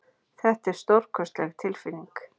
Þetta er stórkostleg tilfinning.